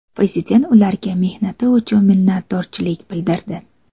Prezident ularga mehnati uchun minnatdorchilik bildirdi.